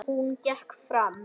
Hún gekk fram.